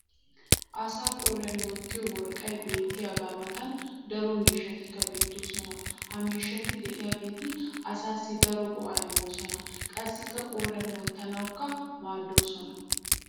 asaa qooriyan wottiyo worqqay beetiyaaga matan daro miishshatikka beetoosona. ha miishshati diyaageti asaassi daro go'aaa immosona qassikka qooriyan wottanawukka maadoosona.